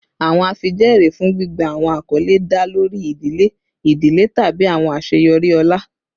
Awọn afijẹẹri fun gbigba awọn akọle da lori idile idile tabi awọn aṣeyọri ọlá